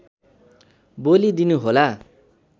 बोलि दिनु होला